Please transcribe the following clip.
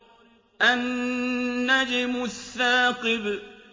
النَّجْمُ الثَّاقِبُ